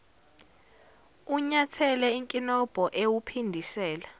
unyathele inkinobho ewuphindisela